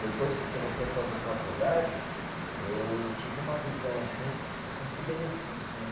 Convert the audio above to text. Depois que eu comecei a fazer faculdade, eu tive uma visão, assim, de custo e benefício, né?